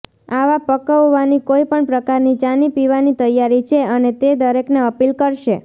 આવા પકવવાની કોઈ પણ પ્રકારની ચાની પીવાની તૈયારી છે અને તે દરેકને અપીલ કરશે